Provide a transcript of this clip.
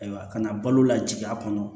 Ayiwa kana balo lajigi a kɔnɔ